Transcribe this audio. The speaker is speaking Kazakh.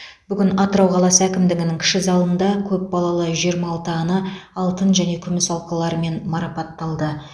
бүгін атырау қаласы әкімдігінің кіші залында көп балалы жиырма алты ана алтын және күміс алқаларымен марапатталды